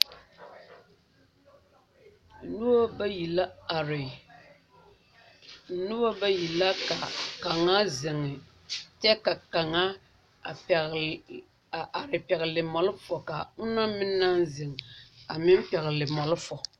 Noba bayi la are noba bayi la ka kaŋa zeŋe kyɛ ka kaŋa pɛgle a are pɛgle malfa ka onaŋ meŋ naŋ zeŋ a meŋ pɛgle malfa